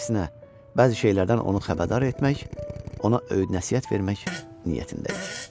Əksinə, bəzi şeylərdən onu xəbərdar etmək, ona öyüd-nəsihət vermək niyyətindəyik.